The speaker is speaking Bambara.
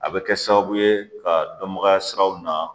A bɛ kɛ sababu ye ka dɔnbagaya siraw na